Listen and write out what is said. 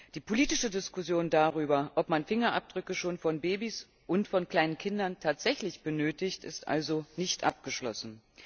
Die politische Diskussion darüber, ob man Fingerabdrücke schon von Babys und von kleinen Kindern tatsächlich benötigt, ist also nicht abgeschlossen.